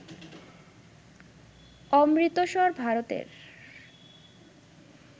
অমৃতসর, ভারতের